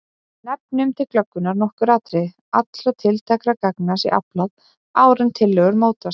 Nefnum til glöggvunar nokkur atriði: Allra tiltækra gagna sé aflað áður en tillögur mótast.